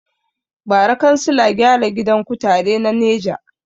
Bara kansila gyara gidan kutare na neja